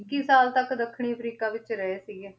ਇੱਕੀ ਸਾਲ ਤੱਕ ਦੱਖਣੀ ਅਫ਼ਰੀਕਾ ਵਿੱਚ ਰਹੇ ਸੀਗੇ,